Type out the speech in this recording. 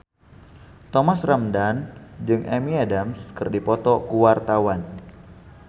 Thomas Ramdhan jeung Amy Adams keur dipoto ku wartawan